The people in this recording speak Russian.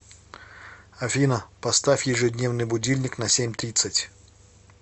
афина поставь ежедневный будильник на семь тридцать